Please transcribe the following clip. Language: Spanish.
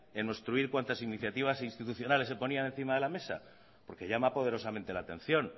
en obstruir cuantas iniciativas institucionales se ponían encima de la mesa porque llama poderosamente la atención